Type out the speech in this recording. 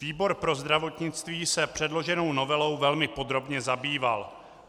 Výbor pro zdravotnictví se předloženou novelou velmi podrobně zabýval.